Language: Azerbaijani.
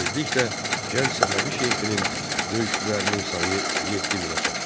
Tezliklə gənc Səfəvi şeyxinin döyüşçülərinin sayı 7000-ə çatdı.